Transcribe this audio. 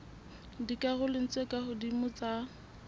dikarolong tse ka hodimo tsa